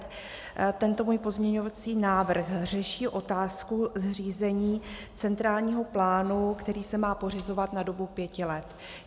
Tento můj pozměňovací návrh řeší otázku zřízení centrálního plánu, který se má pořizovat na dobu pěti let.